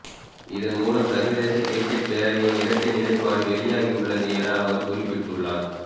இதன் மூலம் சர்வதேச கிரிக்கட் பேரவையின் இரட்டை நிலைப்பாடு வெளியாகியுள்ளது என அவர் குறிப்பிட்டுள்ளார்